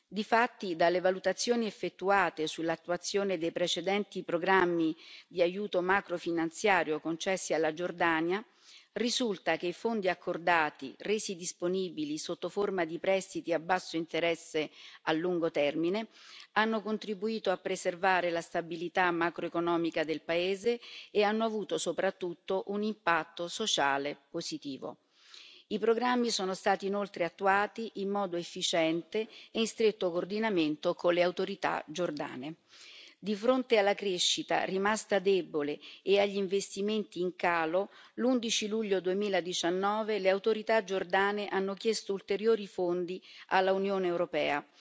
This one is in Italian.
Difatti, dalle valutazioni effettuate sull'attuazione dei precedenti programmi di aiuto macrofinanziario concessi alla Giordania, risulta che i fondi accordati, resi disponibili sotto forma di prestiti a basso interesse a lungo termine, hanno contribuito a preservare la stabilità macroeconomica del paese e hanno avuto soprattutto un impatto sociale positivo. I programmi sono stati inoltre attuati in modo efficiente e in stretto coordinamento con le autorità giordane. Di fronte alla crescita rimasta debole e agli investimenti in calo, l'11 luglio 2019, le autorità giordane hanno chiesto ulteriori fondi all'Unione europea